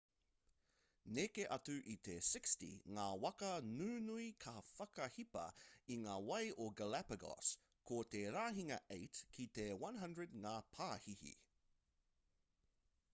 neke atu i te 60 ngā waka nunui ka whakahipa i ngā wai o galapago ko te rahinga 8 ki te 100 ngā pāhihi